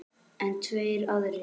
En tveir aðrir